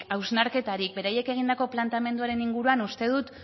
hausnarketarik beraiek egindako planteamenduaren inguruan uste dut